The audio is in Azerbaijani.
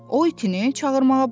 O itinə çağırmağa başladı.